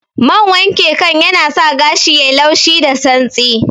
Man wanke kan yanasa gashi yayi laushi da santsi